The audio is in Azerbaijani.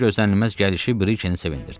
Bu gözənilməz gəlişi biriki sevindirdi.